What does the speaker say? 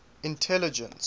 intelligence